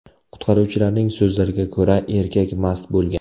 Qutqaruvchilarning so‘zlariga ko‘ra, erkak mast bo‘lgan.